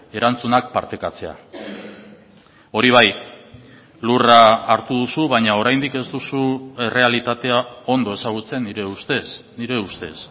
erantzunak partekatzea hori bai lurra hartu duzu baina oraindik ez duzu errealitatea ondo ezagutzen nire ustez nire ustez